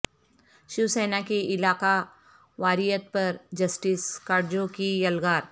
شیوسینا کی علاقہ واریت پر جسٹس کاٹجو کی یلغار